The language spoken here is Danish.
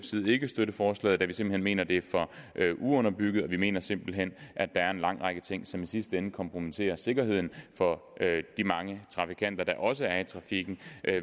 side ikke støtte forslaget da vi simpelt hen mener det er for uunderbygget og vi mener simpelt hen at der er en lang række ting som i sidste ende kompromitterer sikkerheden for de mange trafikanter der også er i trafikken